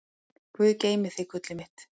Guð geymi þig, gullið mitt.